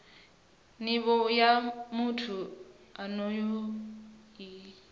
nivho ya muthu onoyo i